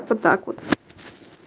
это так вот